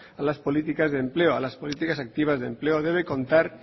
a las políticas de empleo a las políticas activas de empleo debe contar